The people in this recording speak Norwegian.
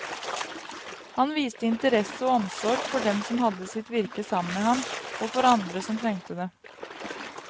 Han viste interesse og omsorg for dem som hadde sitt virke sammen med ham, og for andre som trengte det.